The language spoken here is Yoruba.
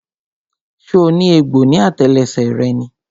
So ní egbò ní àtẹlẹsẹ̀ rẹ ni?